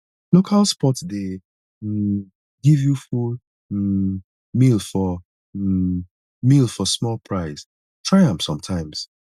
local spots dey um give you full um meal for um meal for small price try am sometimes